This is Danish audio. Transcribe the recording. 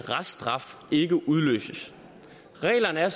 reststraf ikke udløses reglerne er